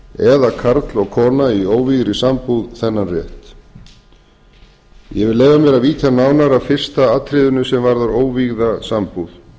eða karl og kona í óvígðri sambúð þennan rétt ég vil leyfa mér að víkja nánar að fyrsta atriðinu sem varðar óvígða sambúð